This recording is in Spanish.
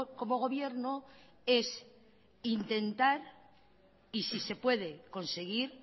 como gobierno es intentar y si se puede conseguir